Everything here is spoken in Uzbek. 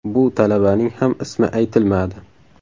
Bu talabaning ham ismi aytilmadi.